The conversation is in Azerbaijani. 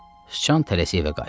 Sıcan tələsib evə qayıtdı.